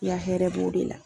I ya hɛrɛ b'o de la.